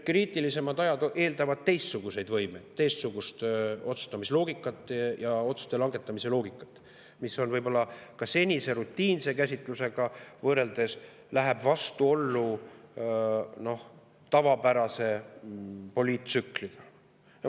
Kriitilisemad ajad eeldavad teistsuguseid võimeid, teistsugust otsustamisloogikat ja otsuste langetamise loogikat, mis võib-olla ka senise rutiinse käsitlusega võrreldes läheb vastuollu tavapärase poliittsükliga.